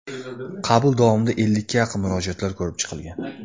Qabul davomida ellikka yaqin murojaatlar ko‘rib chiqilgan.